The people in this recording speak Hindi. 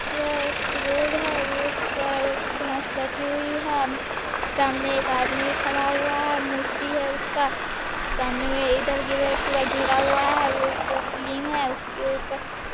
यह एक रोड है रोड पर एक भैस बैठी हुई है सामने एक आदमी खड़ा हुआ है मूर्ति है उसका सामने में इधर-गिधर पूरा घेरा हुआ है रोड पूरा क्लीन है उसके ऊपर --